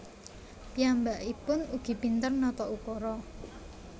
Piyambaikpun ugi pinter nata ukara